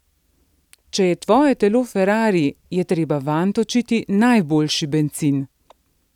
Če je tvoje telo ferarri, je treba vanj točiti najboljši bencin.